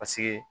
Paseke